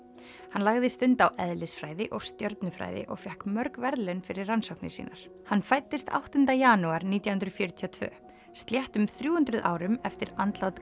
hann lagði stund á eðlisfræði og stjörnufræði og fékk mörg verðlaun fyrir rannsóknir sínar hann fæddist áttundi janúar nítján hundruð fjörutíu og tvö sléttum þrjú hundruð árum eftir andlát